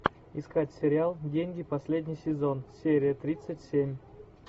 искать сериал деньги последний сезон серия тридцать семь